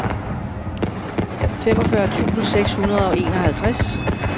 femogfyrre tusind seks hundrede og enoghalvtreds